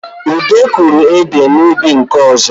Ude kụrụ ede n’ubi nke ọzọ